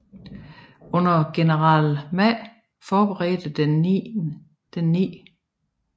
Under general Ma forberedte den 9